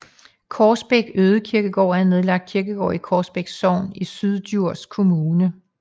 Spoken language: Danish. Krogsbæk Ødekirkegård er en nedlagt kirkegård i Krogsbæk Sogn i Syddjurs Kommune